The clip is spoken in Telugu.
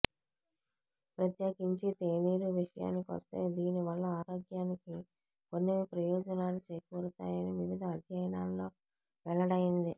ప్రత్యేకించి తేనీరు విషయానికొస్తే దీని వల్ల ఆరోగ్యానికి కొన్ని ప్రయోజనాలు చేకూరతాయని వివిధ అధ్యయనాల్లో వెల్లడైంది